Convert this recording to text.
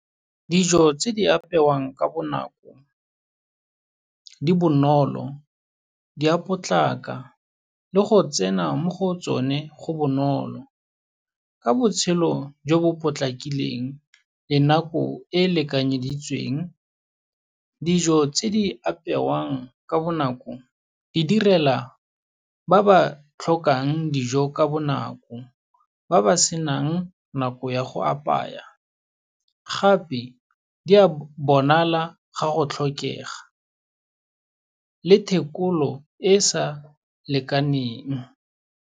Dijo tse di apewang ka bonako, di bonolo, di a potlaka le go tsena mo go tsone go bonolo. Ka botshelo jo bo potlakileng, le nako e e lekanyeditsweng. Dijo tse di apewang ka bonako, di direla ba ba tlhokang dijo ka bonako ba ba senang nako ya go apaya, gape di a bonala ga go tlhokega le thekolo e e sa lekaneng.